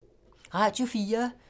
Radio 4